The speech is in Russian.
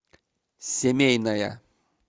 семейная